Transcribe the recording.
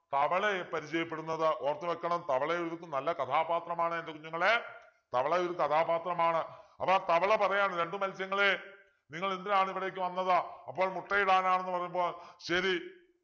തവളയെ പരിചയപ്പെടുന്നത് ഓർത്തു വെക്കണം തവള ഇതിലൊരു നല്ല കഥാപാത്രമാണ് എൻ്റെ കുഞ്ഞുങ്ങളെ തവള ഒരു കഥാപാത്രമാണ് അപ്പൊ ആ തവള പറയുകയാണ് രണ്ടു മത്സ്യങ്ങളെ നിങ്ങൾ എന്തിനാണിവിടെക്ക് വന്നത് അപ്പോൾ മുട്ടയിടാനാണ്ന്നു പറഞ്ഞപ്പോൾ ശരി